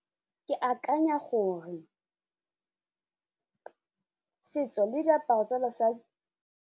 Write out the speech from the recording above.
Ke akanya gore setso le diaparo tsa basadi.